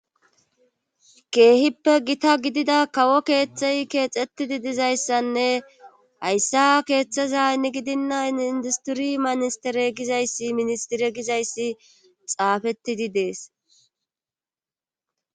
Keehippe gita gidida kawo keeththey keexettidi dizayssanne hayssa keeththeza ni gidinna indistiri ministere gizayssi ministire gizayssi xaafettidi dees